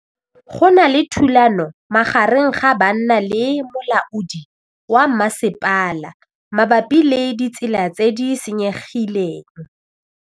Go na le thulanô magareng ga banna le molaodi wa masepala mabapi le ditsela tse di senyegileng.